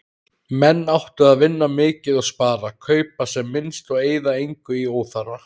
Menn áttu að vinna mikið og spara, kaupa sem minnst og eyða engu í óþarfa.